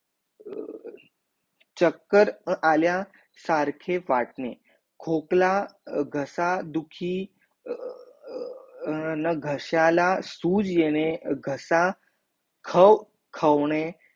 चक्कर आल्या सारखे वाटणे खोकला घसा दुखी न घस्याला सुज येणे घसा खव खवणे